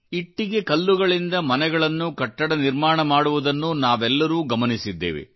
ಇಟ್ಟಿಗೆಕಲ್ಲುಗಳಿಂದ ಮನೆಗಳನ್ನು ಕಟ್ಟಡಗಳ ನಿರ್ಮಾಣ ಮಾಡುವುದನ್ನುನಾವೆಲ್ಲರೂ ಗಮನಿಸಿದ್ದೇವೆ